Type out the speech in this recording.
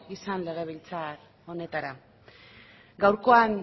izan legebiltzar honetara gaurkoan